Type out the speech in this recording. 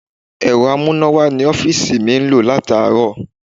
Ẹ̀rọ amúnáwá ní ọ́fíìsì mi ń lò láti àárọ̀.